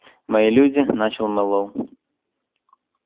мои люди начал мэллоу